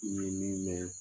N ye min mɛn